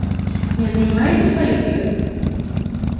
не занимаетесь политикой